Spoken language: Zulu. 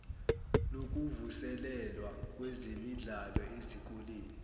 lokuvuselelwa kwezemidlalo ezikoleni